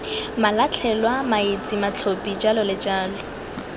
malatlhelwa maetsi matlhophi j j